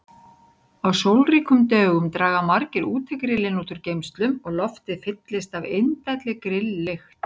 Á sólríkum dögum draga margir útigrillin úr geymslum og loftið fyllist af indælli grilllykt.